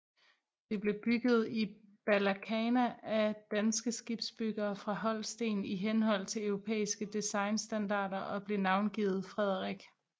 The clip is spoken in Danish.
Det blev bygget i Balakhna af danske skibsbyggere fra Holsten i henhold til europæiske designstandarder og blev navngivet Frederik